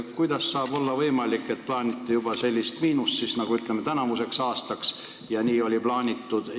Kuidas saab olla võimalik, et plaanitegi tänavuseks aastaks sellist miinust?